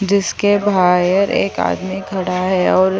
जिसके बाह्यर एक आदमी खड़ा है और--